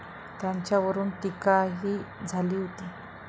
त्याच्यावरून टीकाही झाली होती.